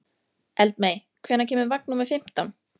Eldmey, hvenær kemur vagn númer fimmtán?